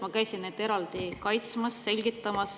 Ma käisin neid eraldi kaitsmas, selgitamas.